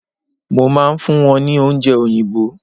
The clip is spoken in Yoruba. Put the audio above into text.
mo ma n fún wón ni oúnje oyinbo